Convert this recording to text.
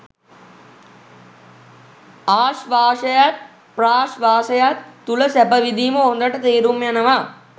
ආශ්වාසයත් ප්‍රශ්වාසයත් තුළ සැප විඳීම හොඳට තේරුම් යනවා.